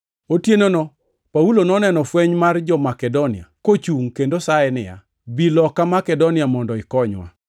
Otienono, Paulo noneno fweny mar ja-Makedonia kochungʼ kendo saye niya, “Bi loka Makedonia mondo ikonywa.”